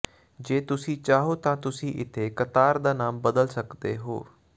ਜੇ ਤੁਸੀਂ ਚਾਹੋ ਤਾਂ ਤੁਸੀਂ ਇੱਥੇ ਕਤਾਰ ਦਾ ਨਾਮ ਬਦਲ ਸਕਦੇ ਹੋ